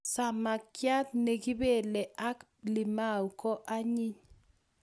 Samakchat ne kipelei ak limau ko anyiny